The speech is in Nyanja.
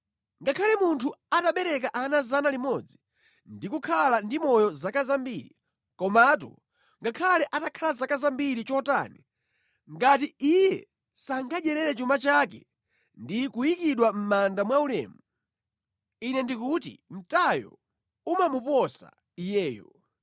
Ngakhale munthu atabereka ana 100 ndi kukhala ndi moyo zaka zambiri; komatu ngakhale atakhala zaka zambiri chotani, ngati iye sangadyerere chuma chake ndi kuyikidwa mʼmanda mwaulemu, ine ndikuti mtayo umamuposa iyeyo.